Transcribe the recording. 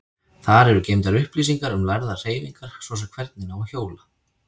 Þar eru geymdar upplýsingar um lærðar hreyfingar, svo sem hvernig á að hjóla.